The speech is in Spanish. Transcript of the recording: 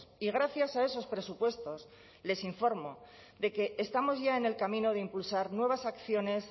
y gracias a esos presupuestos les informo de que estamos ya en el camino de impulsar nuevas acciones